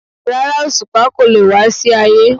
Rárá, Òṣùpá kò lè wá sí Ayé.